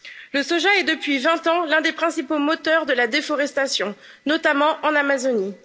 Le soja est, depuis 20 ans, l'un des principaux moteurs de la déforestation, notamment en Amazonie.